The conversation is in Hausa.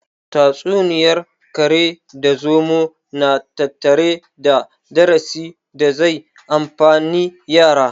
Tatsuniyar kare da zomo na tattare da darasi da zai amfani yara